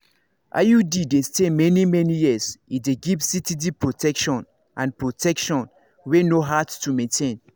iud dey stay many-many years e dey give steady protection and protection wey no hard to maintain.